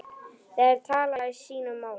Þær tala sínu máli.